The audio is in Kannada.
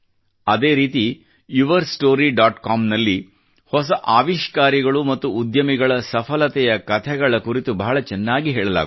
ಅದೇ ರೀತಿ ಯುವರ್ ಸ್ಟೋರಿ ಡಾಟ್ ಕಾಮ್ ನಲ್ಲಿ ಹೊಸ ಆವಿಷ್ಕಾರಿಗಳು ಮತ್ತು ಉದ್ಯಮಿಗಳ ಸಫಲತೆಯ ಕಥೆಗಳ ಕುರಿತು ಬಹಳ ಚೆನ್ನಾಗಿ ಹೇಳಲಾಗುತ್ತದೆ